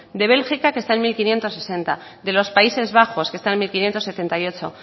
de bélgica que está en mil quinientos sesenta de los países bajos que están en mil quinientos setenta y ocho